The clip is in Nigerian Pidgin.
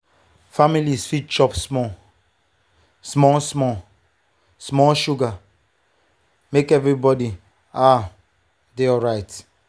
families fit chop small-small small-small sugar make everybody um dey alright.